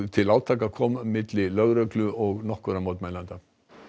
til átaka milli lögreglu og nokkurra mótmælenda